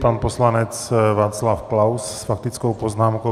Pan poslanec Václav Klaus s faktickou poznámkou.